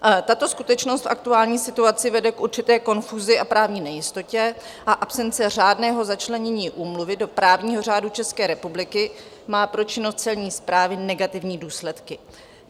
Tato skutečnost v aktuální situaci vede k určité konfuzi a právní nejistotě a absence řádného začlenění úmluvy do právního řádu České republiky má pro činnost celní správy negativní důsledky.